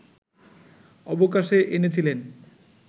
অবকাশে এনেছিলেন